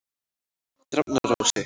Drafnarási